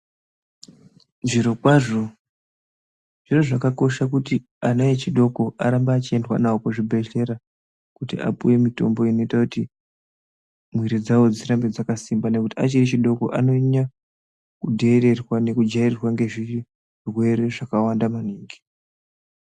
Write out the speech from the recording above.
Zviro kwazvo zviro zvakakosha kuti ana echidoko arambe echiendwa navo kuchibhedhlera kuti apiwe mitombo inoita kuti miiri dzavo dzirambe dzakasimba nekuti achiri echidoko anonyanya kudheererwa nekujairirwa ngezvirwere zvakawanda maningi.